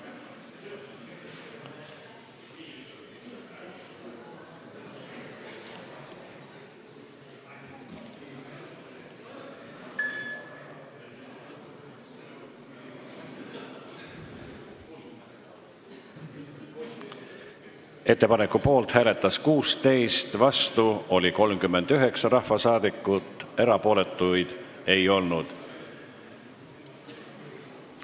Hääletustulemused Ettepaneku poolt hääletas 16 rahvasaadikut, vastu oli 39, erapooletuid ei olnud.